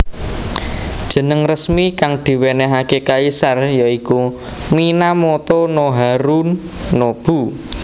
Jeneng resmi kang diwenehake kaisar ya iku Minamoto no Harunobu